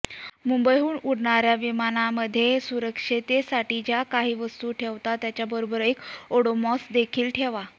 मुंबईहून उडणाऱ्या विमानांनमध्ये सुरक्षिततेसाठी ज्या काही वस्तू ठेवता त्याचबरोबर एक ओडोमॉसदेखील ठेवा